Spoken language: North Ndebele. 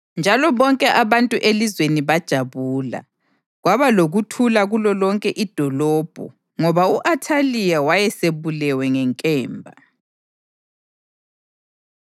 njalo bonke abantu elizweni bajabula. Kwaba lokuthula kulolonke idolobho ngoba u-Athaliya wayesebulewe ngenkemba.